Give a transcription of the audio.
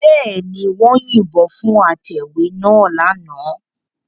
Bẹ́ẹ̀ ni, wọ́n yìnbọn fún atẹ̀wé náà lánàá